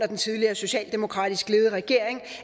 den tidligere socialdemokratisk ledede regering